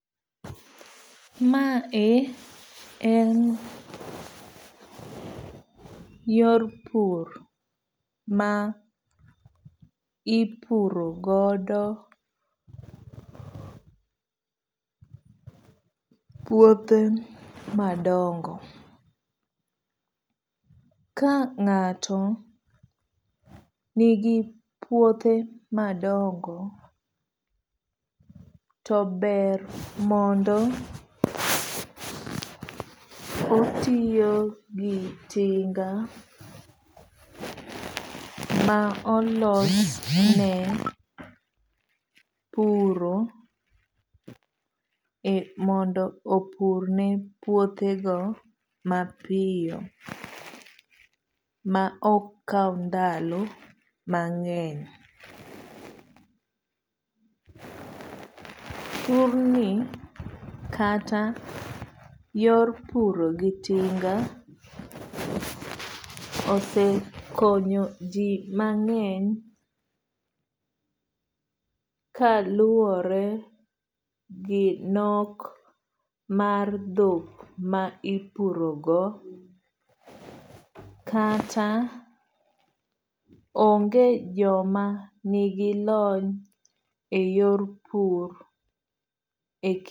Ma e en yor pur ma ipuro godo puothe madongo. Ka ng'ato nigi puothe madongo to ber mondo otiyo gi tinga ma olos ne puro mondo opur ne puothe go mapiyo ma ok kaw ndalo mang'eny. Pur ni kata yor puro gi tinga osekonyo ji mang'eny kaluwore gi nok mar dhok ma ipuro go kata onge joma nigi lony e yor pur.